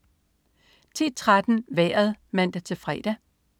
10.13 Vejret (man-fre)